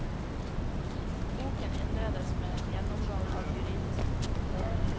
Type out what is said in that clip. Boken innledes med en gjennomgang av juridisk metode.